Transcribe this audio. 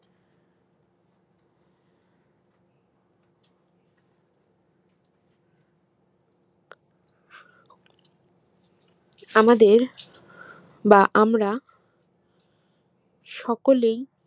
আমাদের বা আমরা সকলেই